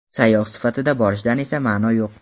Sayyoh sifatida borishdan esa ma’ni yo‘q.